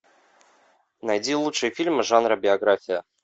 найди лучшие фильмы жанра биография